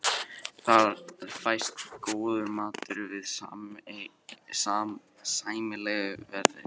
Þar fæst góður matur við sæmilegu verði.